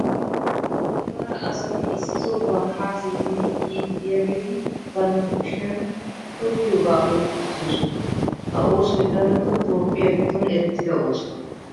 cora asati issi sohuwaara haa simmidi yiidi diyaageetti bantta kushshiyan tokkiyoobaa oyyqqi uttidosona. ha oossoy darotoo toophphiyaa giddon eretidda ooso.